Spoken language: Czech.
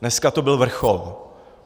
Dneska to byl vrchol.